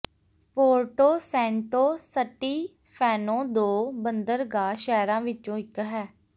Puerto Santo Stefano ਦੋ ਬੰਦਰਗਾਹ ਸ਼ਹਿਰਾਂ ਵਿਚੋ ਇਕ ਹੈ